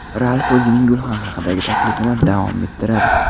Ralf o‘zining gulxan haqidagi taklifini davom ettiradi.